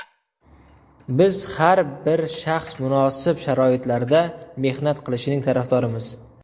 Biz har bir shaxs munosib sharoitlarda mehnat qilishining tarafdorimiz!